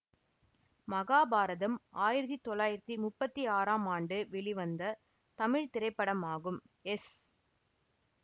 மகாபாரதம் ஆயிரத்தி தொள்ளாயிரத்தி முப்பத்தி ஆறாம் ஆண்டு வெளிவந்த தமிழ் திரைப்படமாகும் எஸ்